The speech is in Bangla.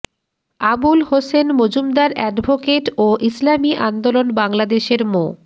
আবুল হোসেন মজুমদার অ্যাডভোকেট ও ইসলামী আন্দোলন বাংলাদেশের মো